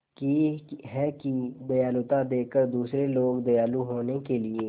की है कि दयालुता देखकर दूसरे लोग दयालु होने के लिए